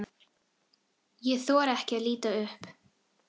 Ég þori ekki að líta upp.